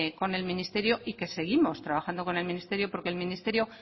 con el ministerio y que seguimos trabajando con el ministerio porque el ministerio